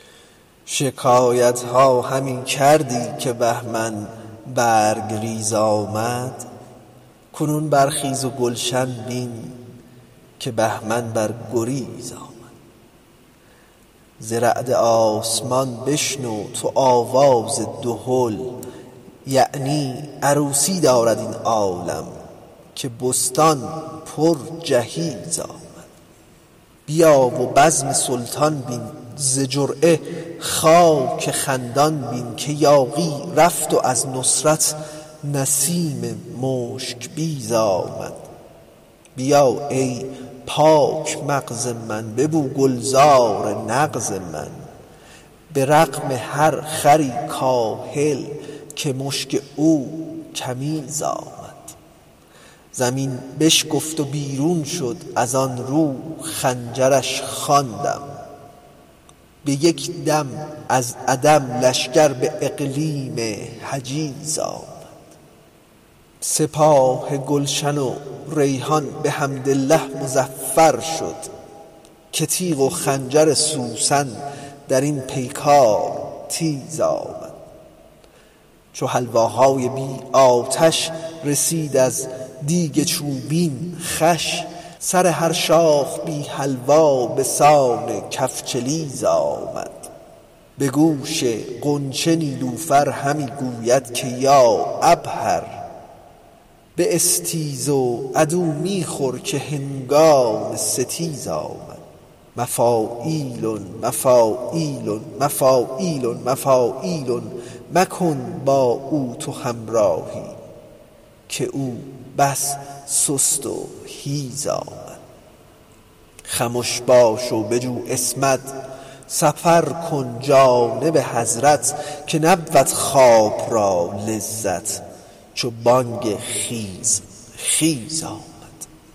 شکایت ها همی کردی که بهمن برگ ریز آمد کنون برخیز و گلشن بین که بهمن بر گریز آمد ز رعد آسمان بشنو تو آواز دهل یعنی عروسی دارد این عالم که بستان پرجهیز آمد بیا و بزم سلطان بین ز جرعه خاک خندان بین که یاغی رفت و از نصرت نسیم مشک بیز آمد بیا ای پاک مغز من ببو گلزار نغز من به رغم هر خری کاهل که مشک او کمیز آمد زمین بشکافت و بیرون شد از آن رو خنجرش خواندم به یک دم از عدم لشکر به اقلیم حجیز آمد سپاه گلشن و ریحان بحمدالله مظفر شد که تیغ و خنجر سوسن در این پیکار تیز آمد چو حلواهای بی آتش رسید از دیگ چوبین خوش سر هر شاخ پرحلوا به سان کفچلیز آمد به گوش غنچه نیلوفر همی گوید که یا عبهر باستیز عدو می خور که هنگام ستیز آمد مفاعیلن مفاعیلن مفاعیلن مفاعیلن مکن با او تو همراهی که او بس سست و حیز آمد خمش باش و بجو عصمت سفر کن جانب حضرت که نبود خواب را لذت چو بانگ خیز خیز آمد